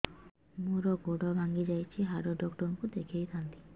ମୋର ଗୋଡ ଭାଙ୍ଗି ଯାଇଛି ହାଡ ଡକ୍ଟର ଙ୍କୁ ଦେଖେଇ ଥାନ୍ତି